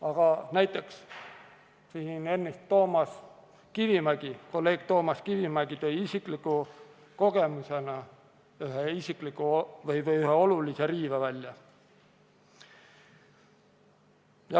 Aga näiteks kolleeg Toomas Kivimägi tõi ennist isikliku kogemusena välja ühe olulise riive.